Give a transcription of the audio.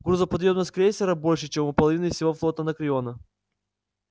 грузоподъёмность крейсера больше чем у половины всего флота анакреона